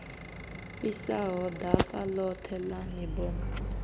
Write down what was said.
fhisaho ḓaka ḽoṱhe ḽa mibomo